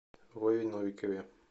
вове новикове